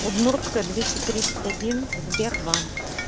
удмуртская двести тридцать один сбербанк